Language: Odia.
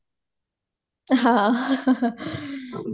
ହଁ